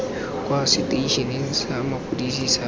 kwa seteišeneng sa maphodisa sa